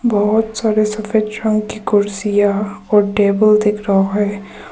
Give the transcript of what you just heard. बहुत सारे सफेद रंग की कुर्सियां और टेबल दिख रहा है।